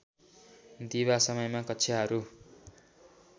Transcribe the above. दिवा समयमा कक्षाहरू